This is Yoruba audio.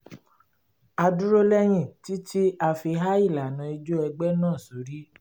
a dúró lẹ́yìn títí a fi há ìlànà ijó ẹgbẹ́ náà sórí